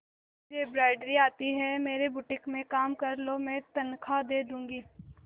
तुझे एंब्रॉयडरी आती है मेरे बुटीक में काम कर लो मैं तनख्वाह दे दूंगी